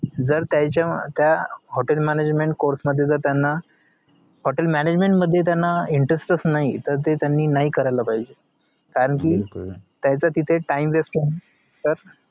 जर त्यांच्या त्या hotel management course मध्ये जर त्यांना hotel management मध्ये त्यांना interest च नाही त ते त्यांनी नाही करायला पाहिजे कारण कि त्यांचा तिथे time waste तर